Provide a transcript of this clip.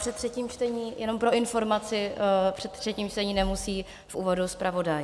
Před třetím čtení, jenom pro informaci, před třetím čtením nemusí v úvodu zpravodaj.